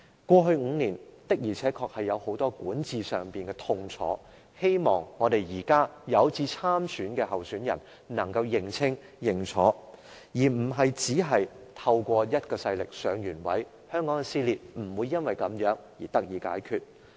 過去5年，現屆政府的管治確實帶來很大痛楚，希望現時有志參選的人能夠認清問題，而非只憑藉某股勢力上位，因為這樣香港的撕裂問題是不會得到解決的。